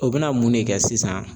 O be na mun ne kɛ sisan